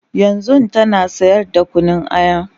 yanzun tana sayar da Kunun aya